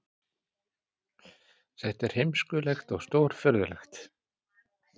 Þetta er heimskulegt og stórfurðulegt